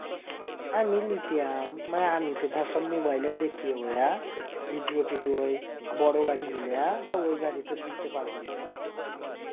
আমি লিতাম মানে আমি তো ধর সব মোবাইলে দেখিবইআ video টিডিও ওই বড় গাড়ি গিলা. তো ওই গাড়িতে লিতে পারবো না.